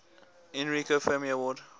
enrico fermi award